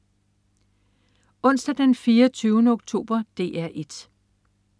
Onsdag den 24. oktober - DR 1: